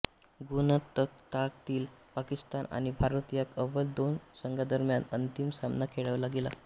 गुणतक्त्यातील पाकिस्तान आणि भारत ह्या अव्वल दोन संघांदरम्यान अंतिम सामना खेळवला गेला